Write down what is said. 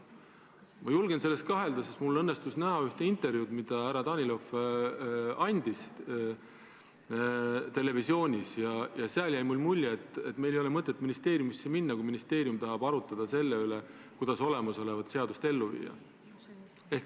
Ma julgen selles kahelda, sest mul õnnestus näha üht intervjuud, mille härra Danilov televisioonis andis, ja sealt jäi mulle mulje, et neil ei ole mõtet ministeeriumisse minna, kui ministeerium tahab arutada seda, kuidas olemasolevat seadust ellu viia.